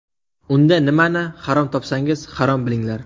Unda nimani harom topsangiz, harom bilinglar!